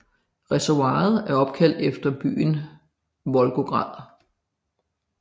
Reservoiret er opkaldt efter byen Volgograd